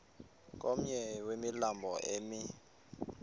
komnye wemilambo emi